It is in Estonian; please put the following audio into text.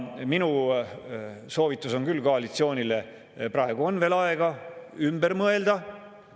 Minu soovitus koalitsioonile on küll see: praegu on veel aega ümber mõelda.